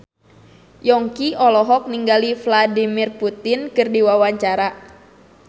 Yongki olohok ningali Vladimir Putin keur diwawancara